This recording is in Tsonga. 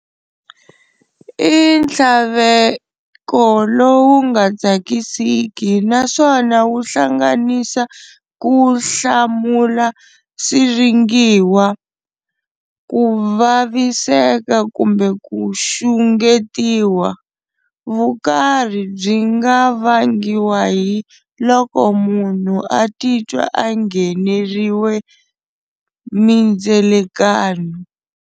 I nthlaveko lowu nga tsakisiki naswona wu hlanganisa kuhlamula siringiwa, kuvaviseka kumbe ku xungetiwa. Vukarhi byi nga vangiwa hi loko munhu atitwa a ngheneriwe mindzelakano.